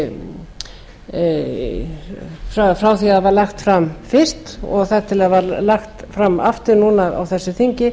frá því að það var lagt fram fyrst og þar til það var lagt fram aftur núna á þessu þingi